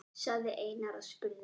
sagði Einar og spurði.